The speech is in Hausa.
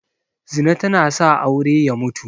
Zina tana sa aure ya mutu